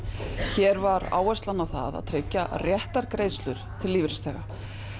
hér var áherslan á það að tryggja réttar greiðslur lífeyrisþega